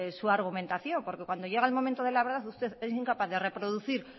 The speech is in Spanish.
su argumentación porque cuando llega el momento de la verdad usted es incapaz de reproducir